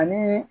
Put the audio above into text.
Ani